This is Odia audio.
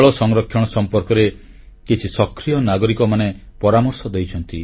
ଜଳ ସଂରକ୍ଷଣ ସମ୍ପର୍କରେ କିଛି ସକ୍ରିୟ ନାଗରିକ ପରାମର୍ଶ ଦେଇଛନ୍ତି